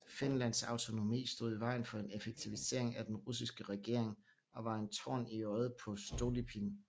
Finlands autonomi stod i vejen for en effektivisering af den russiske regering og var en torn i øjet på Stolypin